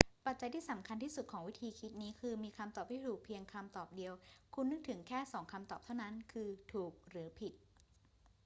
ปัจจัยที่สำคัญที่สุดของวิธีคิดนี้คือมีคำตอบที่ถูกเพียงคำตอบเดียว คุณนึกถึงแค่สองคำตอบเท่านั้น คือถูกหรือผิด